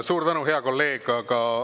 Suur tänu, hea kolleeg!